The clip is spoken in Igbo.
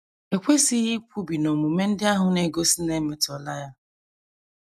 E kwesịghị ikwubi na omume ndị ahụ na - egosi na e metọọla ya.